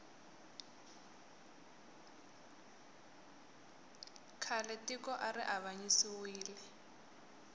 khale tiko ari avanyisiwile